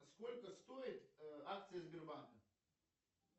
сколько стоят акции сбербанка